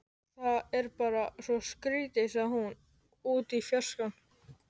Það er bara svo skrýtið sagði hún út í fjarskann.